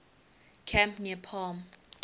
camp near palm